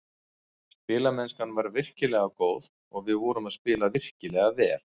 Spilamennskan var virkilega góð og við vorum að spila virkilega vel.